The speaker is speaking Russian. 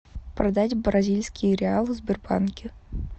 продать бразильские реалы в сбербанке